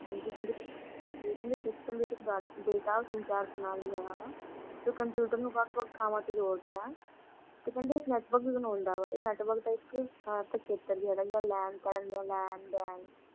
ਹਾਂਜੀ ਕਹਿੰਦੇ ਕੇ system ਵਿਚ ਕਈ ਡ data ਜੋ computer ਨੂੰ ਵੱਖ-ਵੱਖ ਥਾਵਾਂ ਤੋਂ ਜੋੜ ਦਾ ਆ ਤੇ ਕਹਿੰਦੇ ਨੇ ਇਹ network ਬਣਾਉਦਾ ਵਾ ਇਹ ਨ network ਦਾ ਇਕ ਚਿੱਤਰ ਜੇਹਾ ਲੱਗਦਾ LAN, , LAN, WAN